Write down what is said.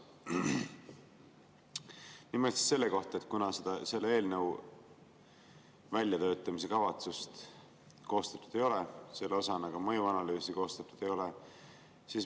Nimelt küsin selle kohta, et selle eelnõu väljatöötamiskavatsust koostatud ei ole, ka mõjuanalüüsi koostatud ei ole.